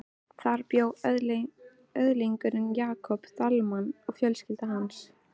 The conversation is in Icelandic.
Þar bjó öðlingurinn Jakob Dalmann og fjölskylda hans.